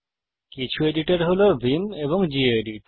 কিছু এডিটর হল ভিআইএম এবং গেদিত